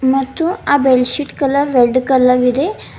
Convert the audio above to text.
ಮತ್ತು ಆ bed sheet colour red colour ಇದೆ.